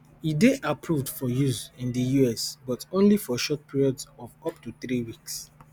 e dey approved for use in di us but only for short periods of up to three weeks